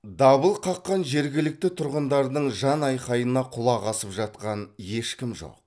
дабыл қаққан жергілікті тұрғындардың жанайқайына құлақ асып жатқан ешкім жоқ